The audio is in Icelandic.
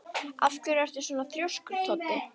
Af hverju ertu svona þrjóskur, Toddi?